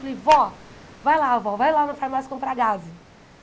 Falei, vó, vai lá, vó, vai lá na farmácia comprar gaze.